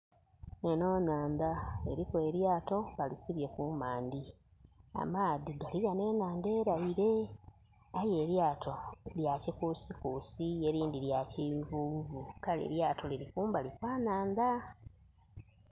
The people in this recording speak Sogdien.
Enho nhandha eliku elyato balisibye kumandhi. Amaadhi gali ghano enhandha elaile. Aye elyato lya kikusikusi, elindhi lya kiyuhuyuhu. Kale elyato liri kumbali kwa nhandha.